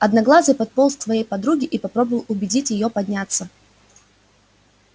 одноглазый подполз к своей подруге и попробовал убедить её подняться